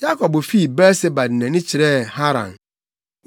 Yakob fii Beer-Seba de nʼani kyerɛɛ Haran.